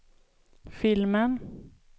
filmen